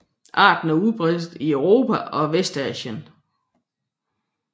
Arten er udbredt i Europa og Vestasien